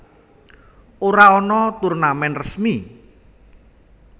Ora ana turnamen resmi